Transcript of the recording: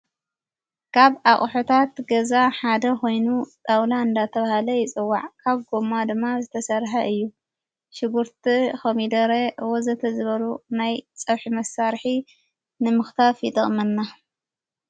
ካብ ኣቕሑታት ገዛ ሓደ ኾይኑ ጣውላ ንዳተብሃለ ይፅዋዕ ካብ ጐማ ድማ ዝተሠርሐ እዩ ሽጉርቲ ፣ኸሚደረ ወዘተ ዝበሩ ናይ ፀብሒ መሳርሒ ንምኽታፍ ይጠቕመና።